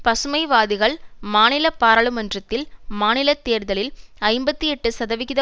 பசுமைவாதிகள் மாநில பாராளுமன்றத்தில் மாநில தேர்தலில் ஐம்பத்தி எட்டு சதவிகித